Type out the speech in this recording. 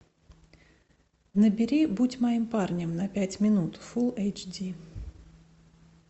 набери будь моим парнем на пять минут фул эйч ди